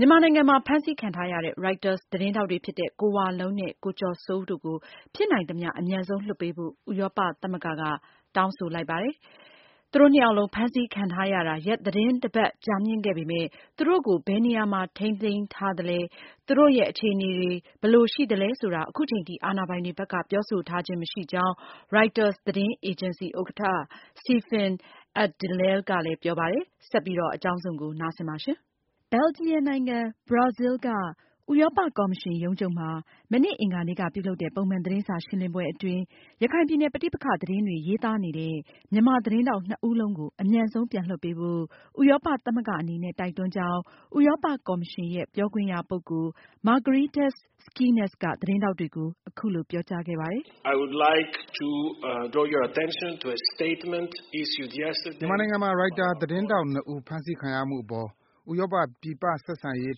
မြန်မာနိုင်ငံမှာ ဖမ်းဆီးခံထားရတဲ့ Reuters သတင်းထောက်တွေဖြစ်တဲ့ ကိုဝလုံးနဲ့ ကိုကျော်စိုးဦးတို့ကို ဖြစ်နိုင်သမျှ အမြန်ဆုံး လွှတ်ပေးဖို့ ဥရောပသမဂ္ဂက တောင်းဆိုလိုက်ပါတယ်။ သူတို့နှစ်ယောက်လုံး ဖမ်းဆီးခံထားရတာ ရက်သီတင်း တပတ် ကြာမြင့်ခဲ့ပေမယ့် သူတို့ကို ဘယ်နေရာမှာ ထိန်းသိမ်းထားသလဲ၊ သူတို့ရဲ့ အခြေအနေ ဘယ်လိုရှိသလဲဆိုတာ အခုချိန်ထိ အာဏာပိုင်တွေဘက်က ပြောဆိုခြင်း မရှိသေးကြောင်း Reuters သတင်းအေဂျင်စီ ဥက္ကဌ Stephen J. Adler ကပြောပါတယ်။ အကြောင်းစုံကို မအင်ကြင်းနိုင်က ဆက်ပြီး ပြောပြမှာပါ။ ဘယ်လ်ဂျီယံနိုင်ငံ Brussels က ဥရောပ ကော်မရှင်ရုံးချုပ်မှာ မနေ့ အင်္ဂါနေ့က ပြုလုပ်တဲ့ ပုံမှန် သတင်းစာရှင်းလင်းပွဲအတွင်း ရခိုင်ပြည်နယ် ပဋိပက္ခသတင်းတွေ ရေးသားနေတဲ့ မြန်မာသတင်းထောက် နှစ်ဦးလုံးကို အမြန်ဆုံးပြန်လွှတ်ပေးဖို့ဥရောပသမဂ္ဂအနေနဲ့ တိုက်တွန်းကြောင်းဥရောပ ကော်မရှင်ရဲ့ ပြောခွင့်ရပုဂ္ဂိုလ် Margaritis Schinas က သတင်းထောက်တွေကို အခုလိုပြောကြားခဲ့ပါတယ်။ “မြန်မာနိုင်ငံမှာ Reuters သတင်းထောက် ၂ ဦးဖမ်းဆီးခံရမှုအပေါ် ဥရောပ ပြင်ပဆက်ဆံရေး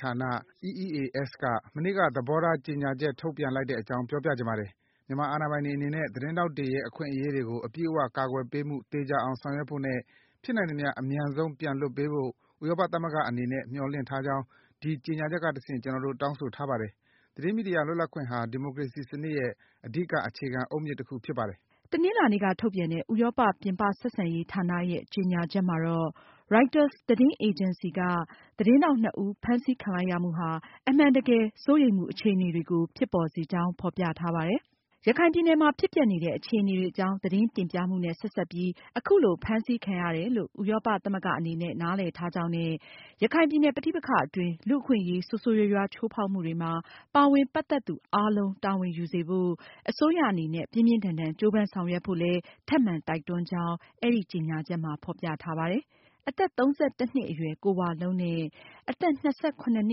ဌာန EEAS က မနေ့က သဘောထားကြေညာချက် ထုတ်ပြန်လိုက်တဲ့ အကြောင်း ပြောပြချင်ပါတယ်။ မြန်မာအာဏာပိုင်တွေအနေနဲ့ သတင်းထောက်တွေရဲ အခွင့်အရေးတွေကို အပြည့်အ၀ ကာကွယ်ပေးမှု သေချာအောင ်ဆောင်ရွက်ဖို့နဲ့ ဖြစ်နိုင်သမျှ အမြန်ဆုံး ပြန်လွှတ်ပေးဖို့ ဥရောပသမဂ္ဂအနေနဲ့ မျှော်လင့်ထားကြောင်း ဒီကြေညာချက်ကတဆင့် ကျနော်တို့ တောင်းဆိုထားပါတယ်။ သတင်းမီဒီယာ လွတ်လပ်ခွင့်ဟာ ဒီမိုကရေစီစနစ်ရဲ့ အဓိက အခြေခံအုတ်မြစ်တခ ုဖြစ်ပါတယ်။” တနင်္လာနေ့က ထုတ်ပြန်တဲ့ ဥရောပ ပြင်ပဆက်ဆံရေးဌာနရဲ့ ကြေညာချက်မှာ Reuters သတင်းအေဂျင်စီက သတင်းထောက်နှစ်ဦး ဖမ်းဆီးခံလိုက်ရမှုဟာအမှန်တကယ် စိုးရိမ်မှုအခြေအနေတွေကို ဖြစ်ပေါ်စေကြောင်း ဖေါ်ပြထားပါတယ်။ ရခိုင်ပြည်နယ်မှာ ဖြစ်ပျက်နေတဲ့ အခြေအနေတွေအကြောင်း သတင်းတင်ပြမှုနဲ့ ဆက်စပ်ပြီးအခုလိုဖမ်းဆီးခံရတယ်လို့ ဥရောပသမဂ္ဂအနေနဲ့ နားလည်ထားကြောင်းနဲ့ ရခိုင်ပြည်နယ်ပဋိပက္ခအ တွင်း လူ့အခွင့်အရေး ဆိုးဆိုးရွားရွားချိူးဖောက်မှုတွေမှာ ပါဝင်ပတ်သက်သူအားလုံး တာဝန်ယူစေဖို့ အစိုးရအနေနဲ့ ပြင်းပြင်းထန်ထန်ကြိုးပမ်းဆောင်ရွက်ဖို့ ထပ်မံတိုက်တွန်းကြောင်း အဲဒီကြေညာချက်မှာ ဖေါ်ပြထားပါတယ်။ အသက် ၃၁ နှစ်အရွယ် ကိုဝလုံးနဲ့ အသက် ၂၇ နှ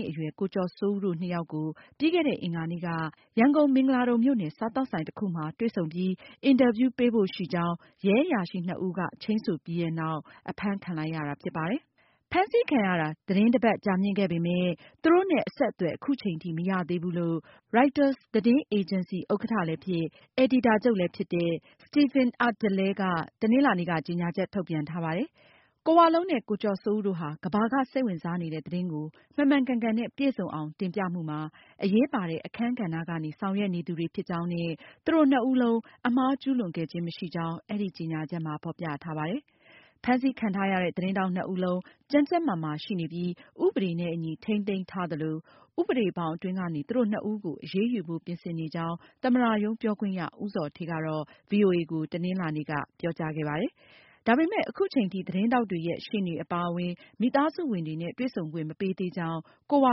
စ်အရွယ် ကိုကျော်စိုးဦးတို့ နှစ်ယောက်ကို ပြီးခဲ့တဲ့ အင်္ဂါနေ့က ရန်ကုန် မင်္ဂလာဒုံမြို့နယ် စားသောက်ဆိုင်တခုမှာတွေ့ဆုံပြီး အင်တာဗျူးပေးဖို့ရှိကြောင်း ရဲအရာရှိနှစ်ဦးက ချိန်းဆိုခဲ့ပြီးနောက် အဖမ်းခံလိုက်ရတာဖြစ်ပါတယ်။ ဖမ်းဆီးခံရတာ သီတင်းတပတ်ကြာမြင့်ခဲ့ပြီဖြစ်ပေမယ့် သူတို့နဲ့ အဆက်အသွယ်အ ခုချိန်ထိမရသေးဘူးလို့ Reuters သတင်းအေဂျင်စီ ဥက္ကဌလည်းဖြစ် အယ်ဒီတာချုပ်လည်းဖြစ်တဲ့ Stephen J. Adler က တနင်္လာနေ့က ကြေညာချက်ထုတ်ပြန်ထားပါတယ်။ ကိုဝလုံးနဲ့ ကိုကျော်စိုးဦးတို့ဟာ ကမ္ဘာက စိတ်ဝင်စားနေတဲ့ သတင်းကို မှန်မှန်ကန်ကန်နဲ့ ပြည့်စုံအောင် တင်ပြမှုမှာ အရေးပါတဲ့ အခန်းကဏ္ဍကနေ ဆောင်ရွက်နေသူတွေဖြစ်ကြောင်း၊ သူတို့နှစ်ဦးလုံး အမှားကျူးလွန်ခဲ့ခြင်း မရှိကြောင်း အဲဒီကြေညာချက်မှာ ဖေါ်ပြထားပါတယ်။ ဖမ်းဆီးခံထားရတဲ့ သတင်းထောက် ၂ ဦးလုံး ကျန်းကျန်းမာမာရှိနေပြီး ဥပဒေနဲ့အညီ ထိန်းသိမ်းထားသလို၊ ဥပဒေ ဘောင်အတွင်းကနေ သူတို့ ၂ ဦးကို အရေးယူဖို့ ပြင်ဆင်နေကြောင်း သမ္မတရုံး ပြောခွင့်ရ ဦးဇော်ဌေးက ဗွီအိုအေကို တနင်္လာနေ့က ပြောခဲ့ပါတယ်။ ဒါပေမယ့် အခုချိန်ထိ သတင်းထောက်တွေရဲ့ ရှေ့နေအပါအဝင် မိသားစုဝင်တွေနဲ့ တွေ့ဆုံခွင့် မပေးသေးကြောင်း ကိုဝ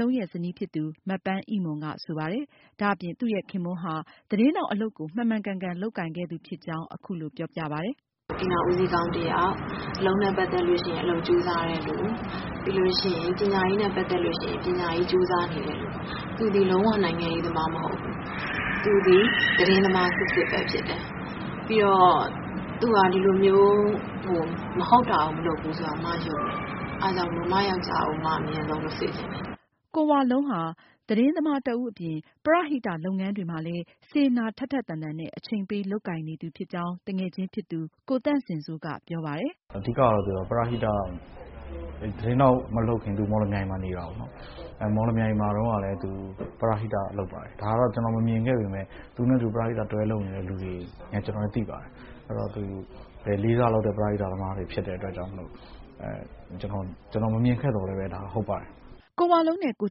လုံးရဲ့ ဇနီးဖြစ်သူ မပန်းအိမွန်က ဆိုပါတယ်။ ဒါအပြင် သူ့ရဲ့ ခင်ပွန်းဟာ သတင်းထောက်အလုပ်ကို မှန်မှန်ကန်ကန်လုပ် ကိုင်ခဲ့သူဖြစ်ကြောင်း အခုလိုပြောပြပါတယ်။ “ အိမ်ထောင်ဦးစီးကောင်း တယောက်၊ အလုပ်နဲ့ပတ်သက်ရင် အလုပ်ကြိုးစားတဲ့သူ။ ပြီးလို့ရှိရင် ပညာရေးနဲ့ ပတ်သက်ရင် ပညာရေး ကြိုးစားနေတဲ့သူ၊ သူသည်လုံး၀ နိုင်ငံရေးသမားမဟုတ်ဘူး၊ သူသည် သတင်းသမား စစ်စစ်ဖြစ်တယ်၊ သူဟာဒီလိုမျိုး မဟုတ်တာမဟုတ်ဘူးဆိုတာ အမယုံတယ်။ အဲဒါကြောင့်မို့ အမ ယောင်္ကျားကို အမ အမြန်ဆုံးလွတ်စေချင်တယ်။” ကိုဝလုံးဟာ သတင်းသမားတဦးအပြင် ပရဟိတ လုပ်ငန်းတွေမှာလည်း စေတနာ ထက်ထက်သန်သန်နဲ့ အချိန်ပေးလုပ်ကိုင်နေသူဖြစ်ကြောင်း သူငယ်ချင်းဖြစ်သူ ကိုသန့်စင်စိုးက ပြောပါတယ်။ “ အဓိကကတော့ သူဟာ ပရဟိတပါ၊ သူသတင်းထောက်မလုပ်ခင်တုံးက မော်လမြိုင်မှာ နေတာကိုး။ မော်လမြိုင်တုံး ကလည်း သူပရဟိတလုပ်ပါတယ်။ ဒါတော့ ကျနော်ကိုယ်တိုင်မမြင်ခဲ့ပေမဲ့၊ သူနဲ့အတူ ပူးတွဲလုပ်ခဲ့တဲ့သူတွေ ကျနော်နဲ့ သိပါတယ်။ အဲဒီတော့ သူ လေးစားလောက်တဲ့ ပရဟိတသမားဖြစ်တဲ့အတွက်ကြောင့် ကျနော်မမြင်ခဲ့သော်လည်း ဒါဟုတ်ပါတယ်။” ကိုဝလုံးနဲ့ ကို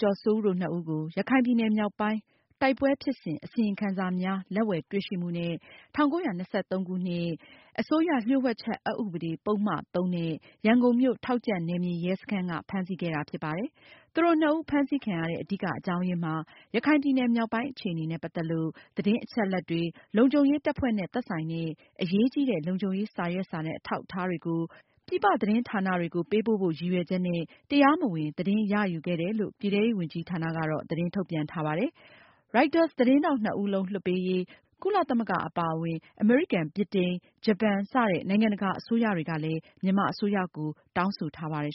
ကျော်စိုးဦးတို့ နှစ်ဦးကို ရခိုင်ပြည်နယ် မြောက်ပိုင်း တိုက်ပွဲဖြစ်စဉ် အစီရင်ခံစာများ လက်ဝယ်တွေ့ရှိမှုနဲ့ ၁၉၂၃ ခုနှစ် မြန်မာနိုင်ငံ အစိုးရ လျှို့ဝှက်ချက် အက်ဥပဒေ၊ ပုဒ်မ ၃ နဲ့ ရန်ကုန်မြို့ထောက်ကြန့်နယ်မြေ ရဲစခန်းက ဖမ်းဆီးခဲ့တာဖြစ်ပါတယ်။ သူတို့နှစ်ဦး ဖမ်းဆီးခံရတဲ့ အဓိက အကြောင်းရင်းမှာ ရခိုင်ပြည်နယ်မြောက်ပိုင်း အခြေအနေနဲ့ ပတ်သက်လို့ သတင်းအချက်အလက်တွေ၊ လုံခြုံရေးတပ်ဖွဲ့နဲ့ သက်ဆိုင်တဲ့ အရေးကြီးတဲ့ လုံခြုံရေး စာရွက်စာတမ်း အထောက်တွေကို ပြည်ပသတင်းဌာနတွေကို ပေးပို့ဖို့ ရည်ရွယ်ချက်နဲ့ တရားမဝင် သတင်းရယူခဲ့တယ်လို့ ပြည်ထဲရေးဝန်ကြီးဌာနက သတင်းထုတ်ပြန်ထားပါတယ်။ Reuters သတင်းထောက်နှစ်ဦးလုံး လွှတ်ပေးရေး ကုလသမဂ္ဂ အပါအဝင် အမေရိကန်၊ ဗြိတိန်၊ ဂျပန် စတဲ့ နိုင်ငံတကာအစိုးရတွေက မြန်မာအစိုးရကို အလေးအနက် တောင်းဆိုထားပါတယ်။